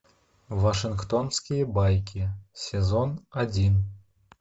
вашингтонские байки сезон один